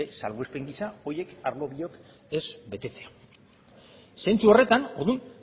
salbuespen gisa horiek arlo biak ez betetzea zentzu horretan